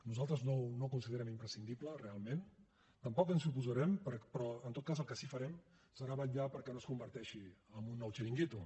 nosaltres no ho considerem imprescindible realment tampoc ens hi oposarem però en tot cas el que sí farem serà vetllar perquè no es converteixi en un nou xiringuito